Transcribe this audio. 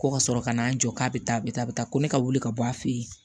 Ko ka sɔrɔ ka n'an jɔ k'a bɛ taa a bɛ taa a bɛ taa ko ne ka wuli ka bɔ a fɛ yen